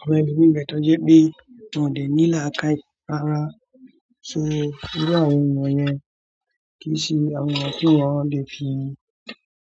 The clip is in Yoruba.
Àwọn olórí ń bẹ tọ́jú pé wọ́n ò dẹ̀ ní làákàì rárá. Torí bí àwọn ènìyàn yẹn kì í ṣe àwọn ènìyàn tí wọ́n lè fi